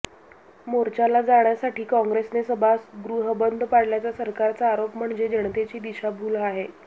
मोर्चाला जाण्यासाठी कॉँग्रेसने सभागृह बंद पाडल्याचा सरकारचा आरोप म्हणजे जनतेची दिशाभूल आहे